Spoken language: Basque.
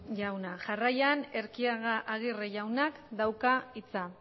jauna jarraian erquiaga aguirre jaunak dauka hitza